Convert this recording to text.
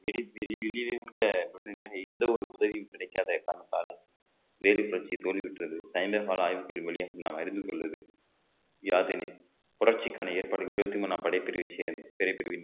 வெளி~ வெளியிலிருந்த உடனடியாக எந்த ஒரு உதவியும் கிடைக்காத காரணத்தாலும் வேலு புரட்சி தோல்வியுற்றது நாம் அறிந்து கொள்வது யாதெனின் புரட்சிக்கான ஏற்பாடுகள் இருபத்தி மூணாம் படைப்பிரிவு சேர்ந்த பெரிய பிரிவின்